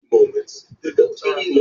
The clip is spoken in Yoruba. béèni yíò jé Ọ̀dùnkún.